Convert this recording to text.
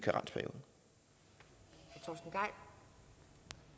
det